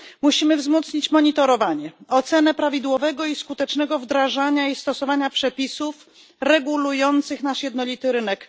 Musimy wzmocnić monitorowanie, ocenę prawidłowego i skutecznego wdrażania i stosowania przepisów regulujących nasz jednolity rynek.